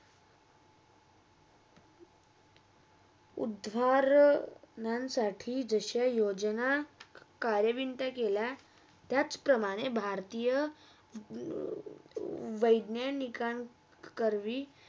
उदाह ~उदाहरणसाठी विषय योजना काळविन्ता केला त्याचप्रमाणे भरतीया वेधीनिकान कारवी.